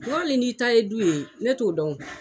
N k'ali n'i ta ye du ye ne t'o dɔn